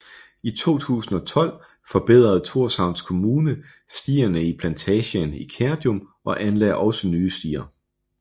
I 2012 forbedrede Thorshavns Kommune stierne i plantagen i Kerjum og anlagde også nye stier